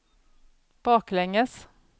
baklänges